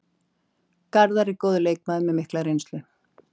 Garðar er góður leikmaður með mikla reynslu.